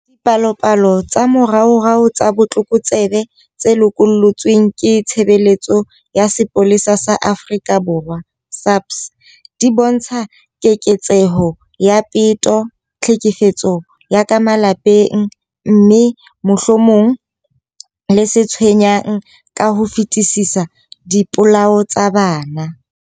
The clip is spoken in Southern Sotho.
Dipalopalo tsa moraorao tsa botlokotsebe tse lokollotsweng ke Tshebeletso ya Sepolesa sa Afrika Borwa, SAPS, di bontsha keketseho ya peto, tlhekefetso ya ka malapeng, mme, mohlomong le se tshwenyang ka ho fetisisa, dipolao tsa bana.